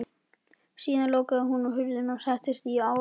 Síðan lokaði hún hurðinni og settist á rúmið.